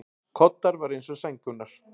Koddar voru eins og sængurnar.